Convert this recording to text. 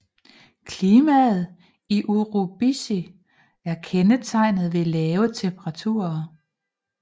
Klimaet i Urubici er kendetegnet ved lave temperaturer